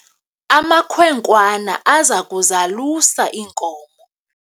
amakhwenkwana aza kuzalusa iinkomo